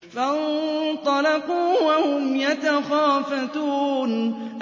فَانطَلَقُوا وَهُمْ يَتَخَافَتُونَ